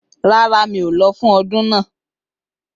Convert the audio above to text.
Rárá, mi ò lọ fún ọdún náà